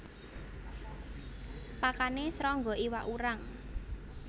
Pakane srangga iwak urang